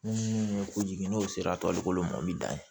Munnu ye kojugu n'o sera tɔlikolon ma o be dan